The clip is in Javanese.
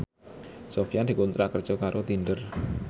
Sofyan dikontrak kerja karo Tinder